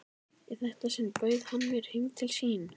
Í þetta sinn bauð hann mér heim til sín.